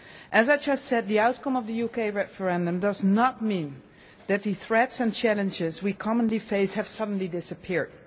As I have just said, the outcome of the UK referendum does not mean that the threats and challenges we commonly face have suddenly disappeared.